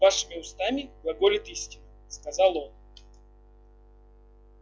вашими устами глаголет истина сказал он